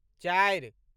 चारि